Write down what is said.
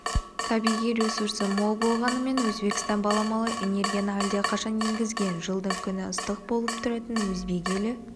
табиғи ресурсы мол болғанымен өзбекстан баламалы энергияны әлдеқашан енгізген жылдың күні ыстық болып тұратын өзбек елі